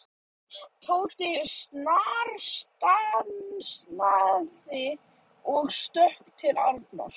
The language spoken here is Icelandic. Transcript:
Tóti snarstansaði og stökk til Arnar.